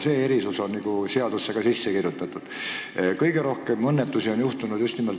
See erisus on seadusesse ka kirjutatud.